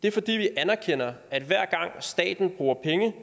det er fordi vi anerkender at hver gang staten bruger penge